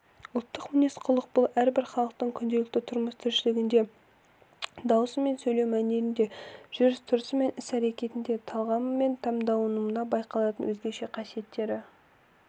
ұлттық мінез-құлық бұл әрбір халықтың күнделікті тұрмыстіршілігінде дауысы мен сөйлеу мәнерінде жүріс-тұрысы мен іс-әрекетінде талғамы мен таңдауында байқалатын өзгеше қасиеттері